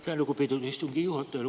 Aitäh, lugupeetud istungi juhataja!